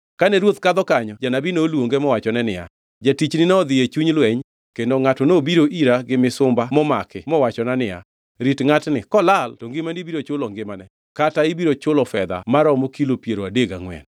Kane ruoth kadho kanyo janabi noluonge mowachone niya, “Jatichni nodhi e chuny lweny, kendo ngʼato nobiro ira gi misumba momaki mowachona ni, ‘Rit ngʼatni kolal to ngimani biro chulo ngimane kata ibiro chulo fedha maromo kilo piero adek gangʼwen.’